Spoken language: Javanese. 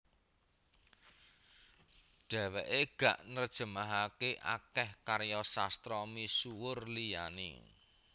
Dhèwèké ga nerjemahaké akèh karya sastra misuwur liyané